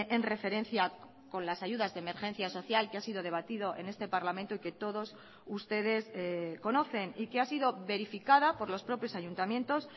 en referencia con las ayudas de emergencia social que ha sido debatido en este parlamento y que todos ustedes conocen y que ha sido verificada por los propios ayuntamientos